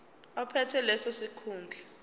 ophethe leso sikhundla